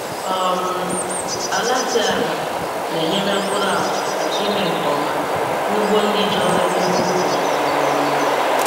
um Ala dị ala na-enyere mkpụrụ agwa aka ime nke ọma n'ugbo ndị ji obere ihe ubi um